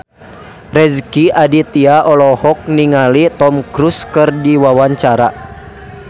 Rezky Aditya olohok ningali Tom Cruise keur diwawancara